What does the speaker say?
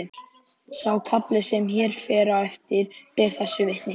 Sá kafli sem hér fer á eftir ber þessu vitni: